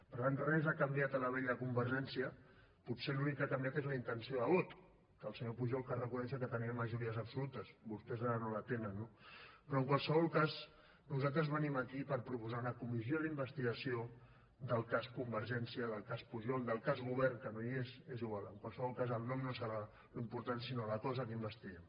per tant res ha canviat a la vella convergència potser l’únic que ha canviat és la intenció de vot que el senyor pujol cal reconèixer que tenia majories absolutes vostès ara no la tenen no però en qualsevol cas nosaltres venim aquí per proposar una comissió d’investigació del cas convergència del cas pujol del cas govern que no hi és és igual en qualsevol cas el nom no serà l’important sinó la cosa que investiguem